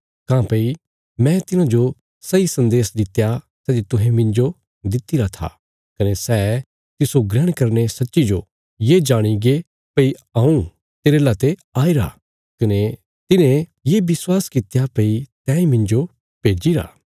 काँह्भई मैं तिन्हांजो सैई सन्देश दित्या सै जे तुहें मिन्जो दित्तिरा था कने सै तिस्सो ग्रहण करीने सच्चीजो ये जाणीगे भई हऊँ तेरे लाते आईरा कने तिन्हें ये विश्वास कित्या भई तैंई मिन्जो भेज्जिरा